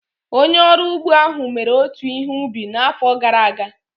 Onye ọrụ ugbo ahụ mere otu ihe ubi n'afọ gara aga.